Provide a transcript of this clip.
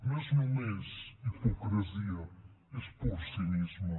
no és només hipocresia és pur cinisme